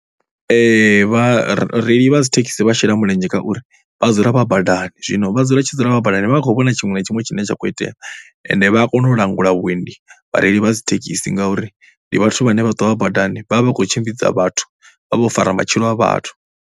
Vhareili vha dzi thekhisi vha shela mulenzhe ngauri vha dzula vha badani zwino vha dzula tshi dzula vha badani vha vha vha khou vhona tshiṅwe na tshiṅwe tshine tsha kho itea ende vha a kona u langula vhuendi vhareili vha dzi thekhisi ngauri ndi vhathu vhane vha ṱwa vha badani vha vha vha khou tshimbidza vhathu vha vha vho fara matshilo a vhathu.